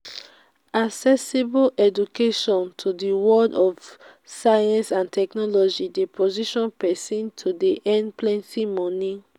accessible education to di world of science and technology de position persin to de earn plenty moni